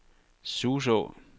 Suså